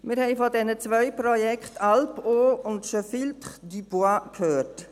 Wir haben von den beiden Projekten «Alpeau» und «Je filtre, tu bois» gehört.